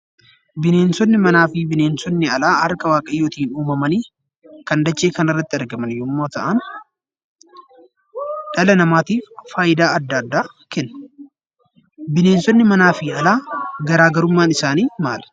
Bineensonni manaa fi bineensonni alaa harka waaqayyootiin uumamanii kan dachee kana irratti argaman yemmuu ta'an, dhala namaatiif fayidaa addaa addaa kennu. Bineensonni alaa fi manaa garaagarummaan isaanii maali?